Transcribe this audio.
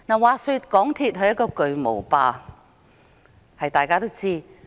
話說港鐵公司是一個"巨無霸"，這大家都知道。